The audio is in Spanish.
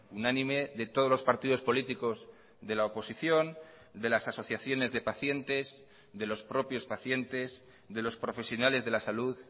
unánime de todos los partidos políticos de la oposición de las asociaciones de pacientes de los propios pacientes de los profesionales de la salud